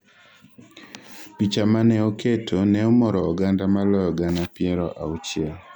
picha mane oketo ne omoro oganda maloyo gana piero auchiel